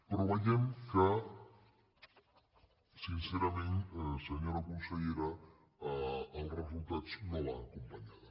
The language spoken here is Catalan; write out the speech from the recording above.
però veiem que sincerament senyora consellera els resultats no l’han acompanyada